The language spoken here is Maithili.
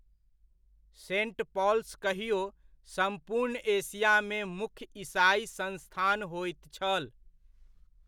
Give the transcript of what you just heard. सेंट पॉल्स कहिओ सम्पूर्ण एशियामे मुख्य ईसाइ संस्थान होइत छल।